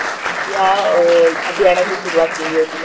या अभियानाची सुरुवात केली होती त्यांनी.